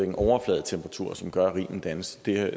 en overfladetemperatur som gør at rimen dannes det er